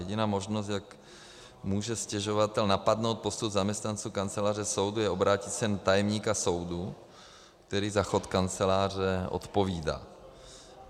Jediná možnost, jak může stěžovatel napadnout postup zaměstnanců kanceláře soudu, je obrátit se na tajemníka soudu, který za chod kanceláře odpovídá.